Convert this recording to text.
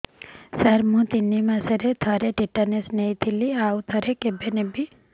ସାର ମୁଁ ତିନି ମାସରେ ଥରେ ଟିଟାନସ ନେଇଥିଲି ଆଉ ଥରେ କେବେ ନେବି